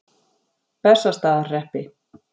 Bessastaðahreppi